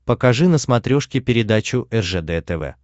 покажи на смотрешке передачу ржд тв